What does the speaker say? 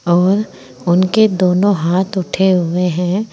और उनके दोनों हाथ उठे हुए हैं।